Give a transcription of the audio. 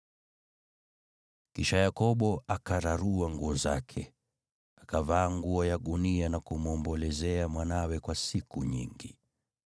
Kisha Yakobo akararua nguo zake, akavaa nguo ya gunia na kumwombolezea mwanawe kwa siku nyingi.